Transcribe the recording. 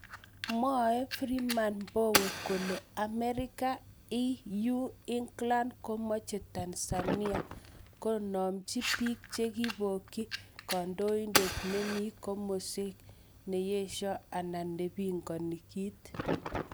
Mwoe Freeman Mbowe kole America ,EU, England komoche Tanzania konomchi bik chekibokyi kandoindet nemi komoshe neyesho anan nepingani kit